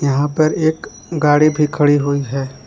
यहा पर एक गाड़ी भी खड़ी हुई है।